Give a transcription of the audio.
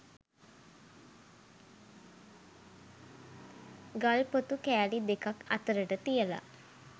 ගල් ‍පොතු කෑලි දෙකක් අතරට තියලා